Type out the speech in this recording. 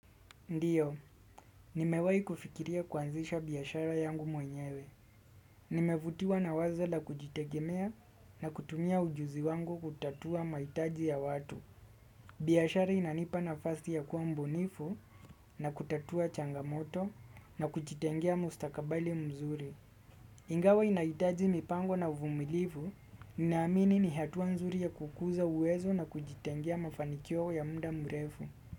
Ndiyo, nimewai kufikiria kuanzisha biashara yangu mwenyewe. Nimevutiwa na wazo la kujitegemea na kutumia ujuzi wangu kutatua maitaji ya watu. Biashara inanipa nafasi ya kuwa mbunifu na kutatua changamoto na kujitengea mustakabali mzuri. Ingawa inaitaji mipango na uvumilifu, ninaamini ni hatua nzuri ya kukuza uwezo na kujitengea mafanikio ya mda mrefu.